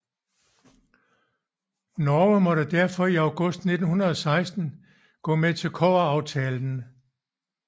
Norge måtte derfor i august 1916 gå med til kobberaftalen